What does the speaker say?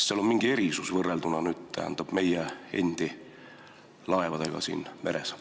Kas seal on mingi erisus võrrelduna meie endi laevadega siin merel?